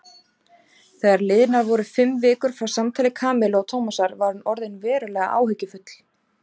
Þegar liðnar voru fimm vikur frá samtali Kamillu og Tómasar var hún orðin verulega áhyggjufull.